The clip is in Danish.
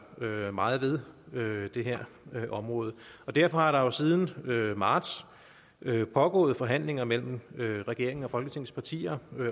gøre meget ved det her område derfor er der jo siden marts pågået forhandlinger mellem regeringen og folketingets partier